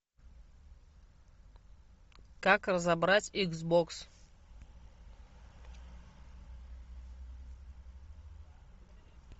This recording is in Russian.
как разобрать икс бокс